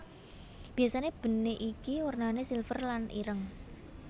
Biasane benik iki wernane silver lan ireng